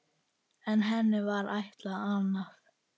En henni var ætlað annað.